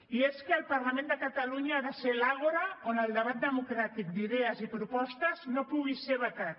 i és que el parlament de catalunya ha de ser l’àgora on el debat democràtic d’idees i propostes no pugui ser vetat